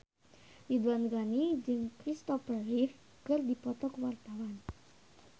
Ridwan Ghani jeung Christopher Reeve keur dipoto ku wartawan